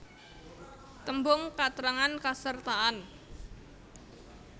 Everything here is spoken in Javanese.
Tembung katrangan kasertaan